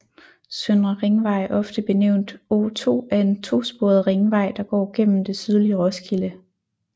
Søndre Ringvej ofte benævnt O2 er en to sporet ringvej der går igennem det sydlige Roskilde